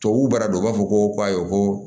Tubabuw b'a dɔn u b'a fɔ ko ayi ko